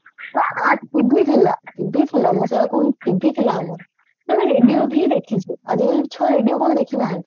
ହଁ ହଁ TV ଥିଲା TV ଥିଲା ମୁଁ ସେଇଆ କହୁନି TV ଥିଲା ଆମର ଆମେ radio ଭି ଦେଖିଚେ ଆଜିକାଲି ଛୁଆ radio କଣ ଦେଖିନାହାନ୍ତି